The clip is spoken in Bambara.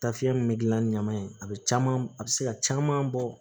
Taafiya min bɛ gilan ni ɲaman ye a bɛ caman a bɛ se ka caman bɔ